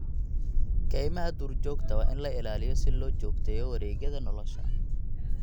Kaymaha duurjoogta waa in la ilaaliyo si loo joogteeyo wareegyada nolosha.